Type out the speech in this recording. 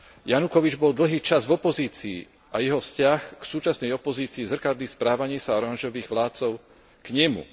Janukovič bol dlhý čas v opozícii a jeho vzťah k súčasnej opozícii zrkadlí správanie sa oranžových vládcov k nemu.